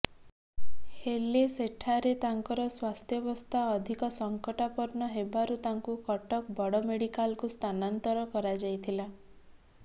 ହେଲେ ସେଠାରେ ତାଙ୍କର ସ୍ୱାସ୍ଥ୍ୟବସ୍ଥା ଅଧିକ ସଙ୍କଟାପର୍ଣ୍ଣ ହେବାରୁ ତାଙ୍କୁ କଟକ ବଡ ମେଡିକାଲକୁ ସ୍ଥାନାନ୍ତର କରାଯାଇଥିଲା